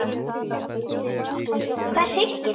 Hvað hryggir þig?